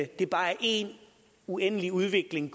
det bare er en uendelig udvikling